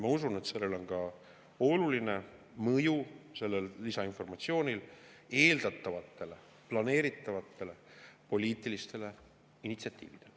Ma usun, et sellel lisainformatsioonil on ka oluline mõju eeldatavatele planeeritavatele poliitilistele initsiatiividele.